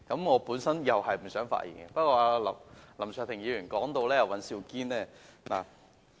我本來也不想發言，不過，林卓廷議員提到尹兆堅議員......